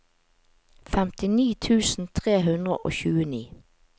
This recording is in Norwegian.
femtini tusen tre hundre og tjueni